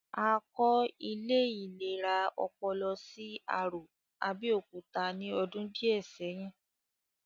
A kọ́ ilé ìlera ọpọlọ sí Arò, Abẹ́òkúta ní ọdún díẹ̀ sẹ́yìn